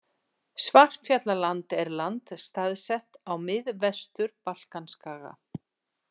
Svartfjallaland er land staðsett á Miðvestur-Balkanskaga.